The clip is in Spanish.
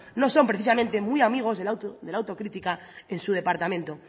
no son precisamente muy amigos de la autocrítica en su departamento